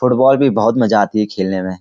Football भी बहुत मजा आता है खेलने में।